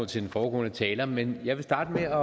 til den foregående taler men jeg vil starte